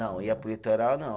Não, ia para o litoral não.